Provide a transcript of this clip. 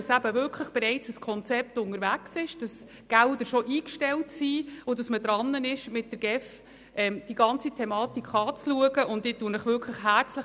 Es ist bereits ein Konzept unterwegs, Gelder sind eingestellt, und zusammen mit der GEF wird die ganze Thematik bereits diskutiert.